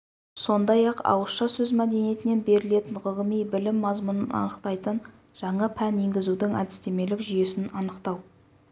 сондай-ақ ауызша сөз мәдениетінен берілетін ғылыми білім мазмұнын анықтайтын жаңа пән енгізудің әдістемелік жүйесін анықтау